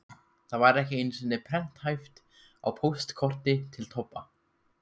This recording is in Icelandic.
Það var ekki einu sinni prenthæft á póstkorti til Tobba.